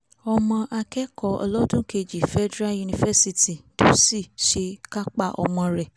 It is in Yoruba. ọmọ akẹ́kọ́ olọ́dúnkejì federal university dutsi ṣe kápá ọmọ rẹ̀